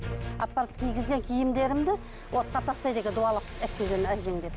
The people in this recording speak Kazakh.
апарып кигізген киімдерімді отқа тастайды екен дуалап алып келген әжең деп